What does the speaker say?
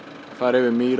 fara yfir mýrar